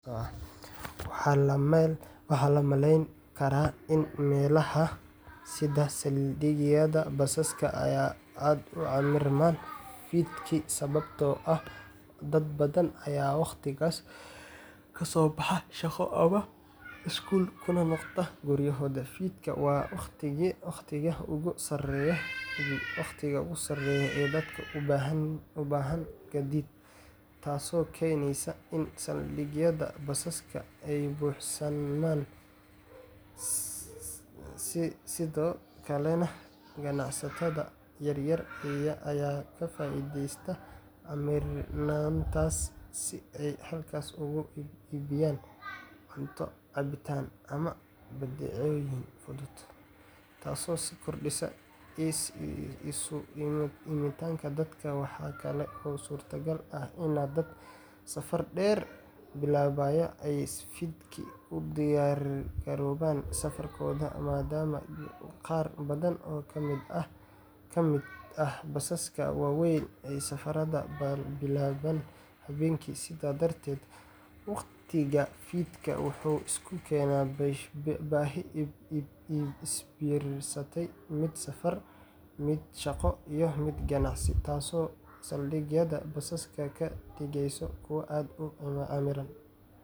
Waxaa la malayn karaa in meelaha sida saldhigyada basaska ay aad u camirmaan fiidkii sababtoo ah dad badan ayaa waqtigaas ka soo baxa shaqo ama iskuul kuna noqda guryahooda. Fiidkii waa waqtiga ugu sarreeya ee dadka u baahan gaadiid, taasoo keeneysa in saldhigyada basaska ay buuxsamaan. Sidoo kale, ganacsatada yaryar ayaa ka faa’iideysta camirnaantaas si ay halkaas ugu iibiyaan cunto, cabitaan, ama badeecooyin fudud, taasoo sii kordhisa isu imaatinka dadka. Waxaa kale oo suurtagal ah in dad safar dheer bilaabaya ay fiidkii u diyaargaroobaan safarkooda, maadaama qaar badan oo ka mid ah basaska waaweyn ay safarrada bilaabaan habeenkii. Sidaas darteed, waqtiga fiidkii wuxuu isu keenaa baahi isbiirsatay: mid safar, mid shaqo, iyo mid ganacsi, taasoo saldhigyada basaska ka dhigaysa kuwo aad u camiran.